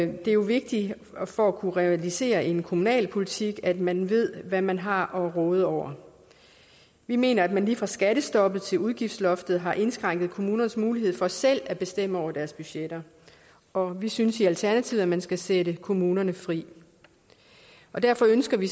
det er jo vigtigt for at kunne realisere en kommunal politik at man ved hvad man har at råde over vi mener at man lige fra skattestoppet til udgiftsloftet har indskrænket kommunernes mulighed for selv at bestemme over deres budgetter og vi synes i alternativet at man skal sætte kommunerne fri derfor ønsker vi